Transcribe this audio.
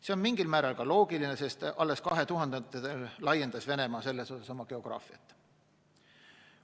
See on mingil määral ka loogiline, sest alles 2000. aastatel laiendas Venemaa selles osas oma geograafiat.